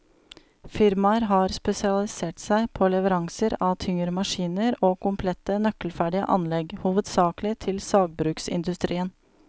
Firmaet har spesialisert seg på leveranser av tyngre maskiner og komplette, nøkkelferdige anlegg, hovedsakelig til sagbruksindustrien.